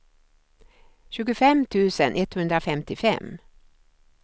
tjugofem tusen etthundrafemtiofem